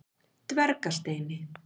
Dvergasteini